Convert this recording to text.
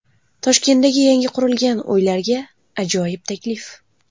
Toshkentdagi yangi qurilgan uylarga ajoyib taklif.